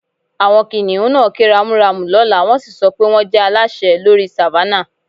Àwọn kìnnìún náà ké ramúramù lọ́lá, wọ́n sì sọ pé wọ́n jẹ́ aláṣẹ lórí Savannah